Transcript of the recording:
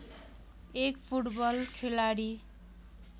एक फुटबल खेलाडी